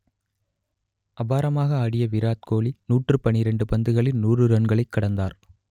அபாரமாக ஆடிய விராட் கோலி நூற்று பன்னிரண்டு பந்துகளில் நூறு ரன்களை கடந்தார்